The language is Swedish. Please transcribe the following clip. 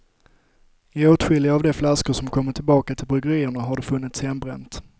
I åtskilliga av de flaskor som kommit tillbaka till bryggerierna har det funnits hembränt.